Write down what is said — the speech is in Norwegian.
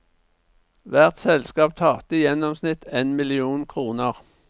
Hvert selskap tapte i gjennomsnitt en million kroner.